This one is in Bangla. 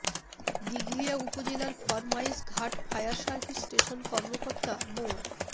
দিঘলিয়া উপজেলার Formayesh Ghat fire service station কর্মকর্তা মো